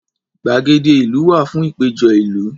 Gbàgede ìlú wà fún ìpéjọ ìlú.